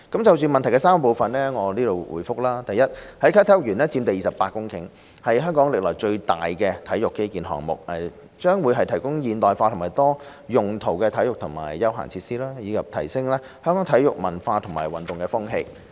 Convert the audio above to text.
就質詢的3個部分，我現答覆如下：一啟德體育園佔地約28公頃，是香港歷來最大型的體育基建項目，將會提供現代化和多用途的體育和休閒設施，以提升香港的體育文化和運動風氣。